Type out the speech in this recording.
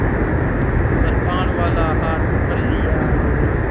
कृपाणवाला हाथ पकड़ लिया और